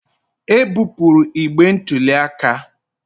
E bupụrụ igbe ntụli aka